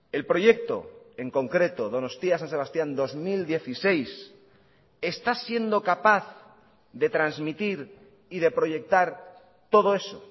el proyecto en concreto donostia san sebastián dos mil dieciséis está siendo capaz de transmitir y de proyectar todo eso